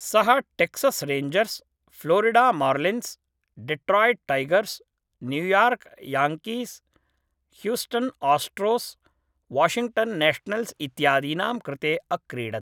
सः Texas Rangers, Florida Marlins, Detroit Tigers, New York Yankees, Houston Astros, Washington Nationals इत्यादीनां कृते अक्रीडत्।